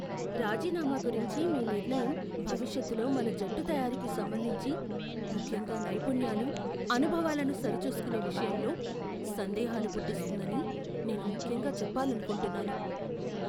రాజీనామా గురించి మీ నిర్ణయం భవిష్యత్లో మన జట్టు తయారీకి సంబంధించి, ముఖ్యంగా నైపుణ్యాలు, అనుభవాలను సరిచూసుకునే విషయంలో సందేహాలు పుట్టిస్తుందని నేను ముఖ్యంగా చెప్పాలనుకుంటున్నాను.